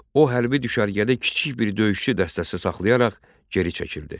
O, hərbi düşərgədə kiçik bir döyüşçü dəstəsi saxlayaraq geri çəkildi.